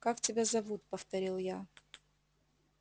как тебя зовут повторил я